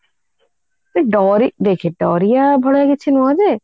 ଡରି ଦେଖେ ଡରିବା ଭଳିଆ କିଛି ନୁହଁ ଯେ